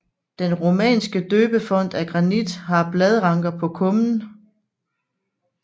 Den romanske døbefont af granit har bladranker på kummen